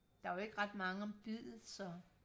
der er jo ikke ret mange om biddet så